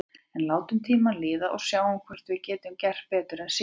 En látum tímann líða og sjáum hvort við getum gert betur en síðast.